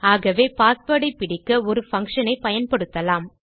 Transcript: ஆகவே பாஸ்வேர்ட் ஐ பிடிக்க ஒரு பங்ஷன் ஐ பயன்படுத்தலாம்